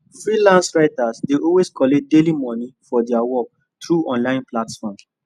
freelance writers dey always collect daily moni for their work through online platforms